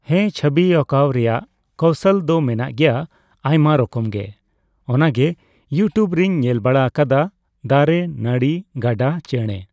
ᱦᱮᱸ ᱪᱷᱚᱵᱤ ᱟᱸᱠᱟᱣ ᱨᱮᱭᱟᱜ ᱠᱚᱣᱥᱚᱞ ᱫᱚ ᱢᱮᱱᱟᱜ ᱜᱮᱭᱟ ᱟᱭᱢᱟ ᱨᱚᱠᱚᱢ ᱜᱮ ᱾ ᱚᱱᱟᱜᱮ ᱤᱭᱩ ᱴᱤᱭᱩᱵᱽ ᱨᱮᱧ ᱧᱮᱞ ᱵᱟᱲᱟ ᱟᱠᱟᱫᱟ ᱾ᱫᱟᱨᱮ, ᱱᱟᱹᱲᱤ, ᱜᱟᱰᱟ ᱪᱮᱬᱮ